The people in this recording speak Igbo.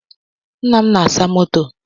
Nna m na-asa moto